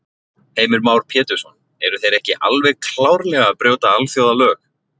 Heimir Már Pétursson: Eru þeir ekki alveg klárlega að brjóta alþjóðalög?